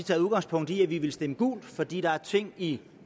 taget udgangspunkt i at vi ville stemme gult fordi der er ting i